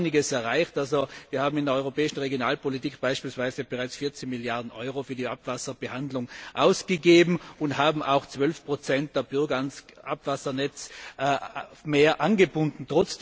Wir haben da einiges erreicht, wir haben in der europäischen Regionalpolitik beispielsweise bereits 14 Milliarden Euro für die Abwasserbehandlung ausgegeben und haben auch zusätzliche 12 der Bürger ans Abwassernetz angebunden.